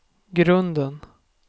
grunden